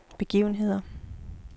begivenheder